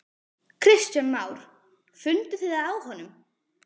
Kristján Már: Funduð þið það á honum?